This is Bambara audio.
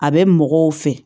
A bɛ mɔgɔw fɛ